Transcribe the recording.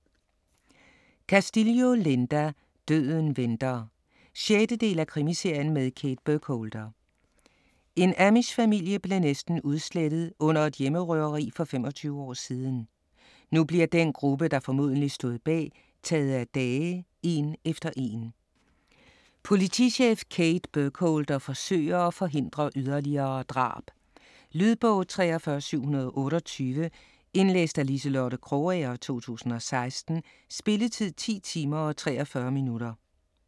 Castillo, Linda: Døden venter 6. del af krimiserien med Kate Burkholder. En amishfamilie blev næsten udslettet under et hjemmerøveri for 25 år siden. Nu bliver den gruppe, der formodentlig stod bag, taget af dage en efter en. Politichef Kate Burkholder forsøger at forhindre yderligere drab. Lydbog 43728 Indlæst af Liselotte Krogager, 2016. Spilletid: 10 timer, 43 minutter.